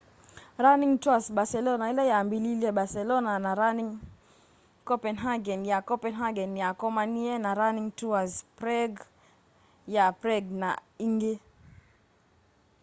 running tours barcelona ila yambiliilye barcelona na running copenhagen ya copenhagen ni yakomanie na running tours prague ya prague na ingi